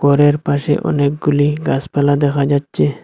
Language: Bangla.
ঘরের পাশে অনেকগুলি গাছপালা দেখা যাচ্ছে।